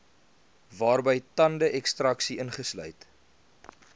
waarby tandekstraksie ingesluit